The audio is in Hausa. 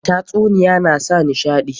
Tatsuniyoyi na sa nishaɗi.